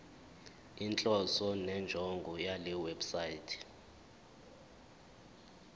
inhloso nenjongo yalewebsite